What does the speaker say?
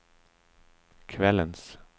kvällens